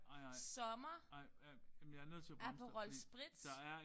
Sommer Aperol spritz